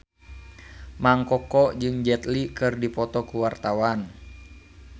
Mang Koko jeung Jet Li keur dipoto ku wartawan